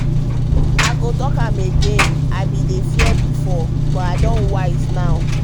i go talk am again i bin dey fear before but i don wise now.